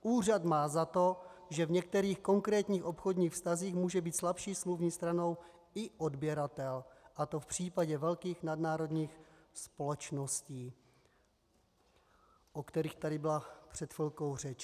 Úřad má za to, že v některých konkrétních obchodních vztazích může být slabší smluvní stranou i odběratel, a to v případě velkých nadnárodních společností" - o kterých tady byla před chvilkou řeč.